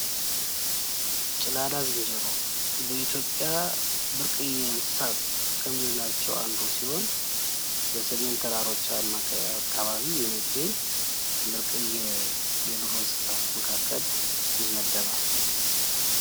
ጭላዳ ዝንጀሮ በኢትዮጵያ ብርቅየ እንስሳት ከምንላቸው አንዱ ሲሆን በሰሜን ተራሮች አካባቢ የሚገኝ ብርቅየ የዱር እንስሳት መካከል ይመደባል።